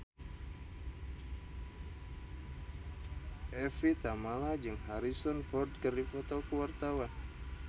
Evie Tamala jeung Harrison Ford keur dipoto ku wartawan